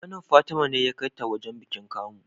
Kanin fatima ne ya kai ta wajan bikin kamu